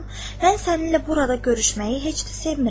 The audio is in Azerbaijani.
Mən səninlə burada görüşməyi heç də sevmirəm.